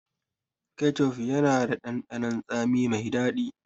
Kecef yana da ɗanɗanon tsami mai daɗi.